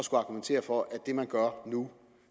skal argumentere for at det man gør nu